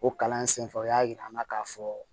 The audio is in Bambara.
O kalan sen fɛ o y'a jira an na k'a fɔ